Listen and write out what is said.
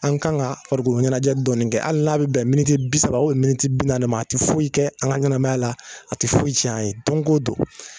An kan ka farikoloɲɛnajɛ dɔni kɛ ali n'a be bɛn bɛnɛ miniti bi saba ubiyɛn miniti bi naani ma a ti foyi kɛ an ka ɲɛnɛmaya la a ti foyi cɛn ye don ko don